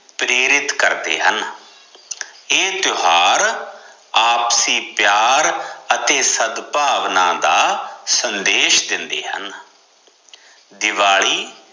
ਪ੍ਰੇਰਿਤ ਕਰਦੇ ਹਨ ਇਹ ਤਿਓਹਾਰ ਆਪਸੀ ਪਿਆਰ ਅਤੇ ਸਦਭਾਵਨਾ ਦਾ ਸੰਦੇਸ਼ ਦਿੰਦੇ ਹਨ ਦਿਵਾਲੀ